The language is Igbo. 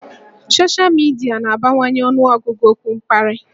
Soshal midia na-abawanye ọnụọgụgụ okwu mkparị